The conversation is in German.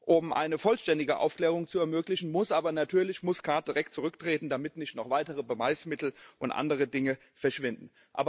Um eine vollständige Aufklärung zu ermöglichen, muss aber natürlich Muscat direkt zurücktreten, damit nicht noch weitere Beweismittel und andere Dinge verschwinden.